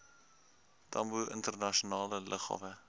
tambo internasionale lughawe